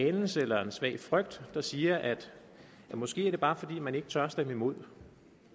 anelse eller en svag frygt der siger at det måske bare er fordi man ikke tør stemme imod